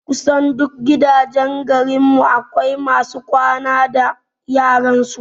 Kusan duk gidajen garin mu akwai masu kwana da yaran su